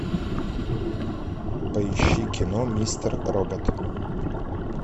поищи кино мистер робот